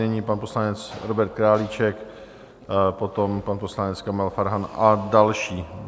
Nyní pan poslanec Robert Králíček, potom pan poslanec Kamil Farhan a další.